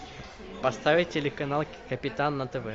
поставить телеканал капитан на тв